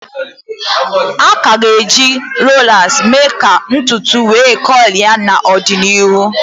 A ka ga-eji rolas emee ka ntutu wee kọịls n'ọdịnịhụ